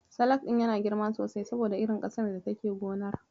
Salak ɗin yana girma sosai saboda irin ƙasar da take gonar.